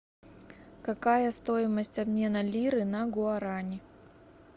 какая стоимость обмена лиры на гуарани